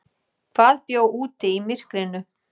Hvað bjó úti í myrkrinu?